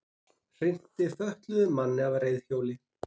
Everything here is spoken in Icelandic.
Hrinti fötluðum manni af reiðhjóli